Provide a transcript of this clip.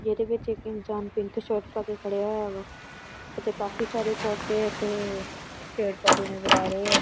ਜਿਹਦੇ ਵਿੱਚ ਇੱਕ ਇਨਸਾਨ ਪਿੰਕ ਸ਼ਰਟ ਪਾਕੇ ਖੜਿਆ ਹੋਇਆ ਵਾ ਅਤੇ ਕਾਫੀ ਸਾਰੇ ਪੌਦੇ ਤੇ ਪੇੜ ਪੌਦੇ ਨਜ਼ਰ ਆ ਰਹੇ ਆ।